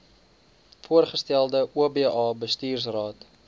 voorgestelde oba bestuursraad